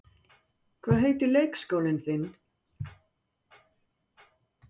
Hvað heitir leikskólinn þinn?